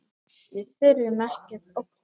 Við þurfum ekkert að óttast!